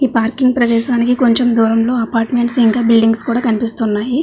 ఈ పార్కింగ్ పరదేశానికి కొంచెం దూరంలో అపార్ట్మెంట్స్ ఇంకా బిల్డింగ్స్ కూడా కనిపిస్తున్నాయి.